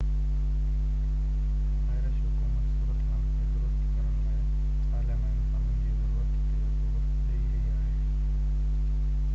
Irish حڪومت صورتحال کي درست ڪرڻ لاءِ پارلياماني قانون جي ضرورت تي زور ڏئي رهي آهي